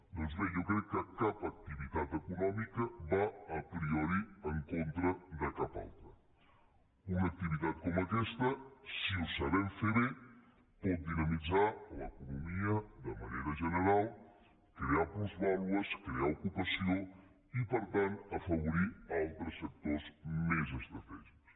doncs bé jo crec que cap activitat econòmica va a prioritivitat com aquesta si ho sabem fer bé pot dinamitzar l’economia de manera general crear plusvàlues crear ocupació i per tant afavorir altres sectors més estratègics